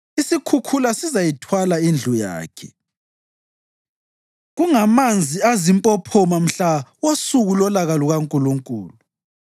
Isikhukhula sizayithwala indlu yakhe, kungamanzi azimpophoma mhla wosuku lolaka lukaNkulunkulu.